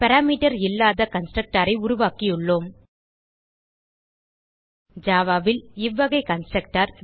parameter இல்லாத constructor ஐ உருவாக்கியுள்ளோம் ஜாவா ல் இவ்வகை கன்ஸ்ட்ரக்டர்